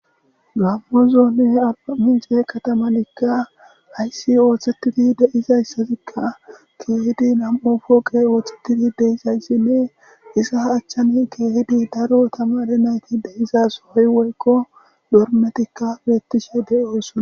gammozonne ala mince katamanikka ayssi ooththetidi deizayssatikka keehidi nam7o fooqe ooththetidi deizayssinne isa achchani keehidi daro tamare nayti deizas hoy woykko dormetikka beettishe de7oosona